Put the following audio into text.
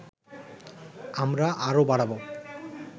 আমরা আরও বাড়াবো